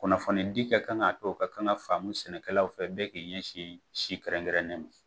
Kunnafonidi ka kan k'a to ka kan ka faamu sɛnɛkɛlaw fɛ bɛɛ k'i ɲɛsin si kɛrɛnkɛrɛnnenw ma